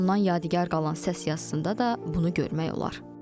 Ondan yadigar qalan səs yazısında da bunu görmək olar.